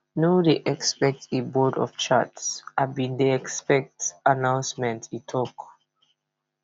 no dey expect a board of charts i bin dey expect announcement e tok